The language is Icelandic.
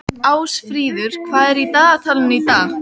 Ásfríður, hvað er í dagatalinu í dag?